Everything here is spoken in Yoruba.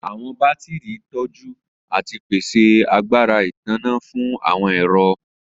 Awọn batiri tọju ati pese agbara itanna fun awọn ẹrọ.